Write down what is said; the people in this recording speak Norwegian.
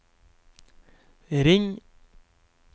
ring